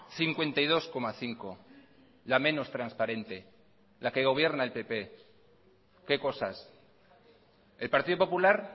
cincuenta y dos coma cinco la menos transparente la que gobierna el pp qué cosas el partido popular